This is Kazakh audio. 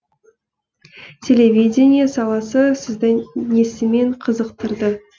телевидение саласы сізді несімен қызықтырды